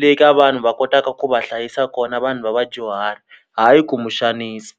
le ka vanhu va kotaka ku va hlayisa kona vanhu va vadyuhari hayi ku muxanisi.